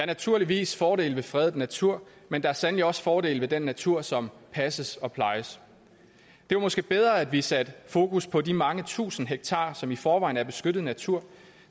naturligvis fordele ved fredet natur men der er sandelig også fordele ved den natur som passes og plejes det var måske bedre at vi satte fokus på de mange tusind hektarer som i forvejen er beskyttet natur